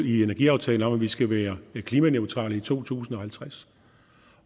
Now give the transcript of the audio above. i energiaftalen om at vi skal være klimaneutrale i to tusind og halvtreds